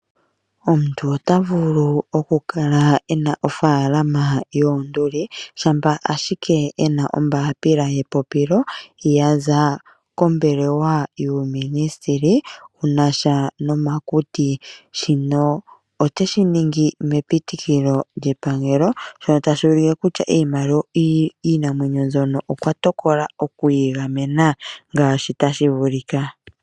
Omuntu ota vulu okukala e na ofaalama yoonduli shampa ashike e na ombaapila yepopilo ya za kombelewa yuuminisiteli wu na sha nomakuti. Shino ote shi ningi mepitikilo lyepangelo, shono tashi ulike kutya iinamwenyo mbyono okwa tokola oku yi gamena ngaashi tashi vulika.